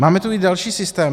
Máme tu i další systémy.